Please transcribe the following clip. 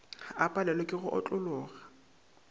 a palelwe ke go otlologa